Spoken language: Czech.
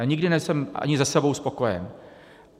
Já nikdy nejsem ani se sebou spokojen.